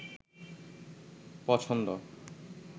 পছন্দ